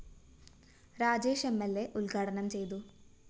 Rajesh M L A ഉദ്ഘാടനം ചെയ്തു